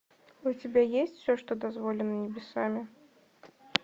у тебя есть все что дозволено небесами